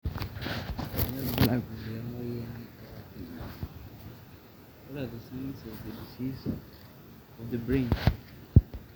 kanyio irbulabul le moyian oloipirnyiny